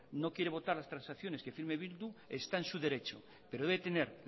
no quiere votar las transacciones que firme bildu está en su derecho pero debe tener